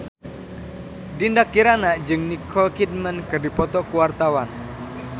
Dinda Kirana jeung Nicole Kidman keur dipoto ku wartawan